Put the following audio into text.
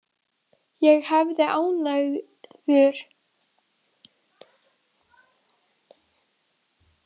Ég hefði ánægju af því að hitta hana.